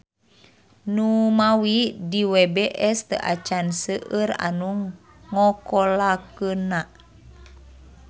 Numawi di WBS teu acan seueur anu ngokolakeunna.